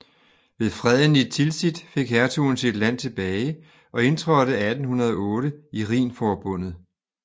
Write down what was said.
Ved Freden i Tilsit fik hertugen sit land tilbage og indtrådte 1808 i Rhinforbundet